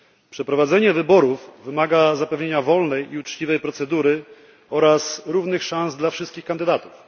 Przeprowadzenie wyborów wymaga zapewnienia wolnej i uczciwej procedury oraz równych szans dla wszystkich kandydatów.